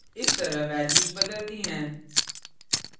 इस तरह values बदलती हैं